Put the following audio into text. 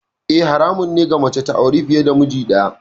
Eh, haramun ne ga mace ta auri fiye da miji daya.